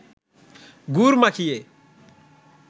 গুড় মাখিয়ে